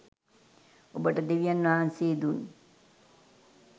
ඔබට දෙවියන් වහන්සේ දුන්